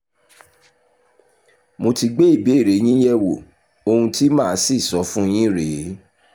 mo ti gbé ìbéèrè yín yẹ̀wò ohun tí mà á sì sọ fún yín rè é